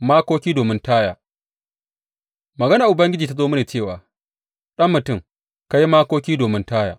Makoki domin Taya Maganar Ubangiji ta zo mini cewa, Ɗan mutum, ka yi makoki domin Taya.